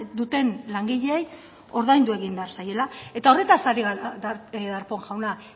duten langileei ordaindu egin behar zaiela eta horretaz ari gara darpón jauna